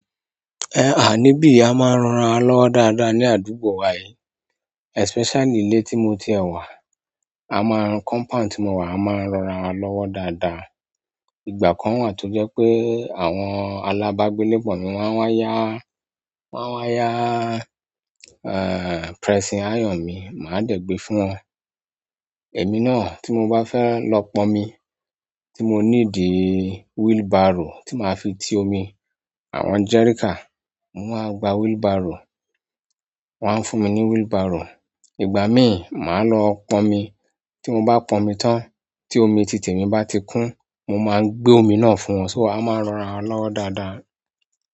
Nibiyi, a ma n ran ara wa lọ́wọ́ dáadáa ni àdúgbò wa yìí. Especially ilé tí mo ti ẹ̀ wà. A máa ń. Compound tí mo wà a máa ń ran ara wa lọ́wọ́ dáadáa. Ìgbà kan wà tó jẹ́ pé àwọn alábágbélé pọ̀ mi máa ń wá yá, máa wá yá pressing iron mi, màá dẹ̀ gbé fún wọn. Emi náà, ti mo ba fe lo ponmi, ti mo nidi wheelbarrow ti ma fi ti omi àwọn jerrycan, mo máa gba wheelbarrow. Wọn á fún mi ní wheelbarrow. Ìgbà míì, màá lọ pọn omi. Tí mo bá pọn omi tán, tí omi tìti emi bá ti kún, mo máa gbé omi náà fún wọn. So a máa ń ran ara lọ́wọ́ dáadáa.